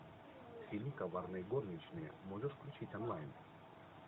фильм коварные горничные можешь включить онлайн